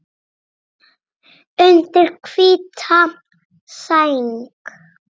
Undir hvíta sæng.